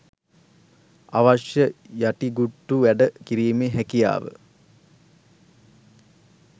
අවශ්‍ය යටිකුට්ටු වැඩ කිරීමේ හැකියාව